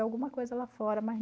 Alguma coisa lá fora